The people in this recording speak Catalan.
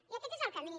i aquest és camí